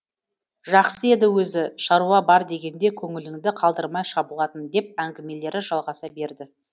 жақсы еді өзі шаруа бар дегенде көңіліңді қалдырмай шабылатын деп әңгімелері жалғаса берді